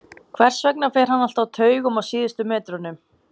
Hvers vegna fer hann alltaf á taugum á síðustu metrunum?